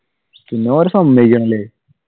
പിന്നെ ഓരേ സമ്മതിക്കണം അല്ലെ?